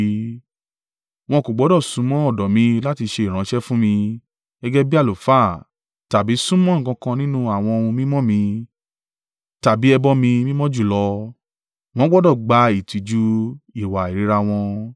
Wọn kò gbọdọ̀ súnmọ́ ọ̀dọ̀ mi láti ṣe ìránṣẹ́ fún mi, gẹ́gẹ́ bí àlùfáà tàbí súnmọ́ nǹkan kan nínú àwọn ohun mímọ́ mi tàbí ẹbọ mi mímọ́ jùlọ; wọn gbọdọ̀ gba ìtìjú ìwà ìríra wọn.